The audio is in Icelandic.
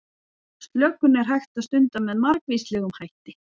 Slökun er hægt að stunda með margvíslegum hætti.